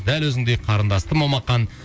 дәл өзіңдей қарындасты момақан